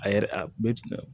A yɛrɛ bɛ